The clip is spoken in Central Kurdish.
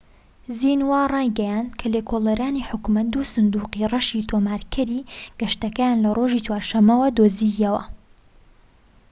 زینوا ڕایگەیاند کە لێکۆڵەرانی حکومەت دوو سندوقی ڕەشی'تۆمارکەری گەشتەکەیان لە ڕۆژی چوارشەممە دۆزیەوە